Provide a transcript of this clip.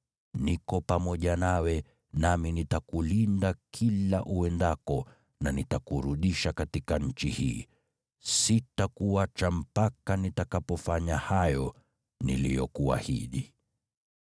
Niko pamoja nawe nami nitakulinda kila uendako na nitakurudisha katika nchi hii. Sitakuacha mpaka nitakapofanya hayo niliyokuahidi.”